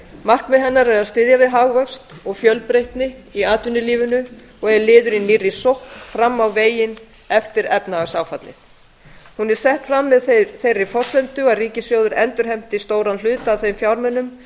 markmið hennar er að styðja við hagvöxt og fjölbreytni í atvinnulífi og er liður í nýrri sókn fram á veginn eftir efnahagsáfallið endurfjármagna bankakerfið og að